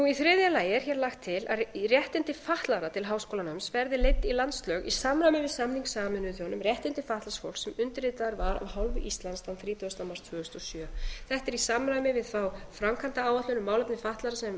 í þriðja lagi er hér lagt til að réttindi fatlaðra til háskólanáms verði leidd í landslög í samræmi við samning sameinuðu þjóðanna um réttindi fatlaðs fólks sem undirritaður var af hálfu íslands þann þrítugasta mars tvö þúsund og sjö þetta er í samræmi við þá framkvæmdaáætlun um málefni fatlaðra sem